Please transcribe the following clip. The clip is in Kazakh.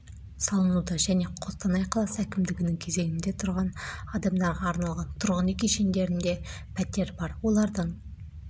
қостанай облысының әкімі сергей карплюк хабарлағандай жалпы көлемі шаршы метр жаңа үйлер өңірлерді дамыту бағдарламасы бойынша